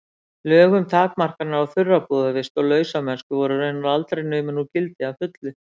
Lög um takmarkanir á þurrabúðarvist og lausamennsku voru raunar aldrei numin úr gildi að fullu.